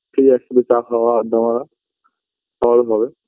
সেই একসাথে চা খাওয়া আড্ডা মারা আবার হবে